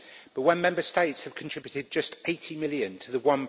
But when Member States have contributed just 80 million to the